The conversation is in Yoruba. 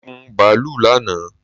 Mo gun bàálù lánàá